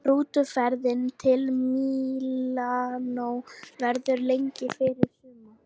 Rútuferðin til Mílanó verður lengri fyrir suma.